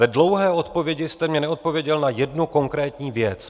V dlouhé odpovědi jste mi neodpověděl na jednu konkrétní věc.